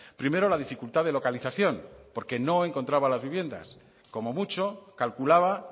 primero la dificultad de localización porque no encontraba las viviendas como mucho calculaba